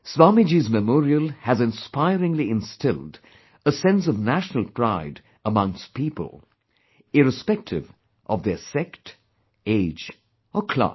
Swamiji's Memorial has inspiringly instilled a sense of national pride amongst people, irrespective of their sect, age or class